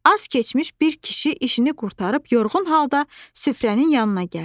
Az keçmiş bir kişi işini qurtarıb yorğun halda süfrənin yanına gəldi.